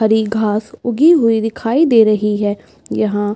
हरी घास उगी हुई दिखाई दे रही है। यहां --